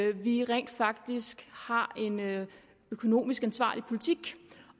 at vi rent faktisk har en økonomisk ansvarlig politik